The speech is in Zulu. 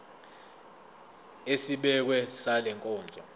esibekiwe sale nkonzo